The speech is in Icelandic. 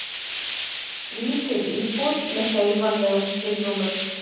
Lítil íbúð með hreyfanlegum skilrúmum.